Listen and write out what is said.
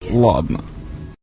ладно